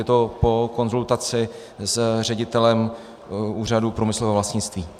Je to po konzultaci s ředitelem Úřadu průmyslového vlastnictví.